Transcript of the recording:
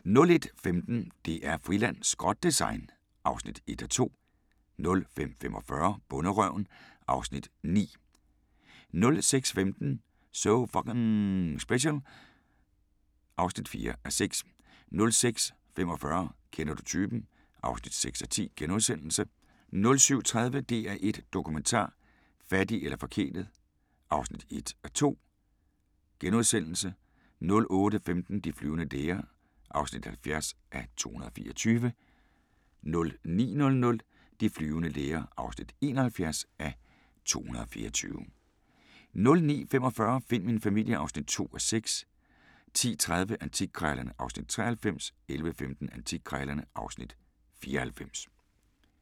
05:15: DR-Friland: Skrot-design (1:2) 05:45: Bonderøven (Afs. 9) 06:15: So F***ing Special (4:6) 06:45: Kender du typen? (6:10)* 07:30: DR1 Dokumentar: Fattig eller forkælet (1:2)* 08:15: De flyvende læger (70:224) 09:00: De flyvende læger (71:224) 09:45: Find min familie (2:6) 10:30: Antikkrejlerne (Afs. 93) 11:15: Antikkrejlerne (Afs. 94)